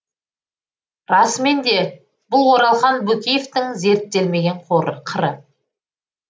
расымен де бұл оралхан бөкеевтің зерттелмеген қыры